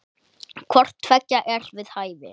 Hvort tveggja er við hæfi.